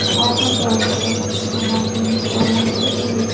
Oxirgi oylarda kutish va mavhumlik holatida edik.